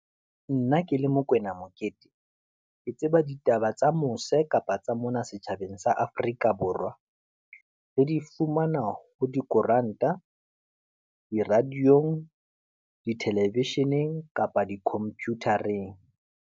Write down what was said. Nna ke le Mokwena Mokete, ke tseba ditaba tsa mose kapa tsa mona setjhabeng sa Afrika Borwa. Re di fumana ho dikoranta, di-radio-ng, di-television-eng, kapa di computer-eng.